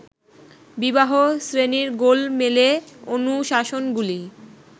বিবাহ-শ্রেণীর গোলমেলে অনুশাসনগুলি